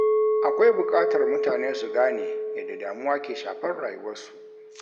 Akwai buƙatar mutane su gane yadda damuwa ke shafar rayuwarsu.